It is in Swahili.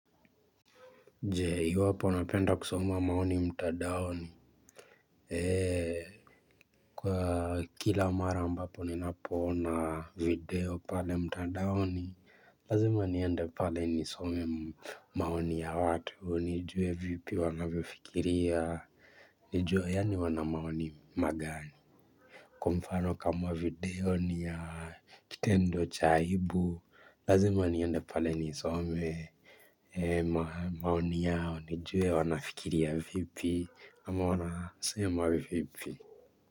Jee, iwapo napenda kusoma maoni mtandaoni. Eee, kwa kila mara ambapo ninapo ona video pale mtandaoni, lazima niende pale nisome maoni ya watu, nijue vipi wanavyofikiria, nijue yaani wana maoni magani. Kwa mfano kama video ni ya kitendo cha aibu, Lazima nionde pale nisome maoni yao nijue wanafikiria vipi ama wanasema vipi.